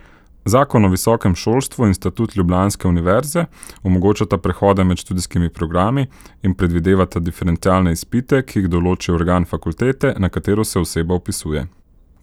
Zakon o visokem šolstvu in statut ljubljanske univerze omogočata prehode med študijskimi programi in predvidevata diferencialne izpite, ki jih določi organ fakultete, na katero se oseba vpisuje.